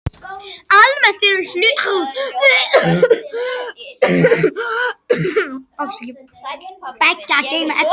Almennt er hlutverk beggja að geyma efni.